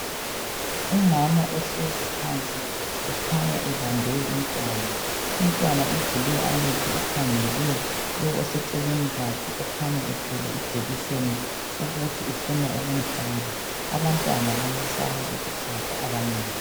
Umama uhlezi phansi ekhanya ebambe umntwana. Umntwana uvule amehlo ukhangele lowo oseceleni kwakhe okhanya bethwele ijekiseni ukuthi ufuna ukumhlaba. Abantwana bayasaba ukuhlatshwa abanengi.